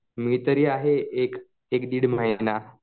मी तरी आहे एक एक दीड महिना.